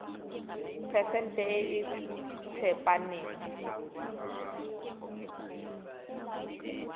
phesente e e tsepameng